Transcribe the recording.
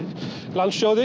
landssjóði